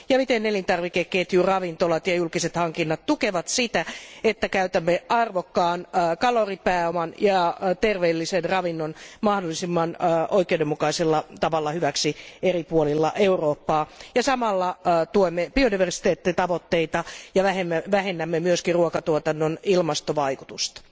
Ja miten elintarvikeketju, ravintolat ja julkiset hankinnat tukevat sitä, että käytämme arvokkaan kaloripääoman ja terveellisen ravinnon mahdollisimman oikeudenmukaisella tavalla hyväksi eri puolilla Eurooppaa ja samalla tuemme biodiversiteettitavoitteita ja vähennämme myöskin ruokatuotannon ilmastovaikutusta.